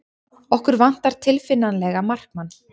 Okkur vantar tilfinnanlega markmann.